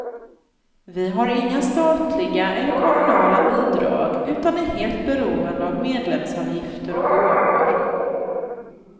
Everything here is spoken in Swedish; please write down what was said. Vi har inga statliga eller kommunala bidrag utan är helt beroende av medlemsavgifter och gåvor.